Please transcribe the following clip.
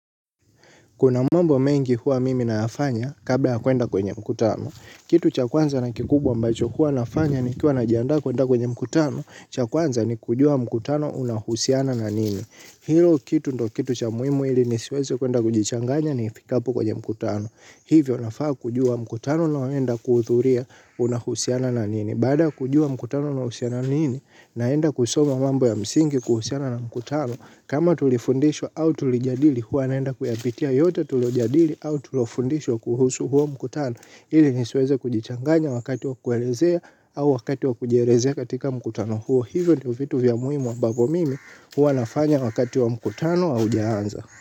Kuna mambo mengi huwa mimi nayafanya kabla ya kuenda kwenye mkutano. Kitu cha kwanza na kikubwa ambacho huwa nafanya nikiwa najiandaa kuenda kwenye mkutano, cha kwanza ni kujua mkutano unahusiana na nini. Hilo kitu ndo kitu cha muhimu ili nisiweze kuenda kujichanganya nifikapo kwenye mkutano. Hivyo nafaa kujua mkutano naoenda kuhuthuria unahusiana na nini. Bada ya kujua mkutano unahusiana na nini, naenda kusoma mambo ya msingi kuhusiana na mkutano. Kama tulifundishwa au tulijadili huwa naenda kuyapitia yote tulojadili au tulofundishwa kuhusu huo mkutano ili nisweze kujichanganya wakati wa kuelezea au wakati wa kujielezea katika mkutano huo hivyo ndo vitu vya muhimu ambavo mimi huwa nafanya wakati wa mkutano haujaanza.